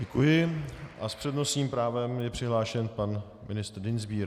Děkuji a s přednostním právem je přihlášen pan ministr Dienstbier.